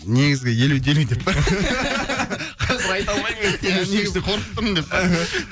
негізгі елу де елу деп па қазір айта алмаймын енді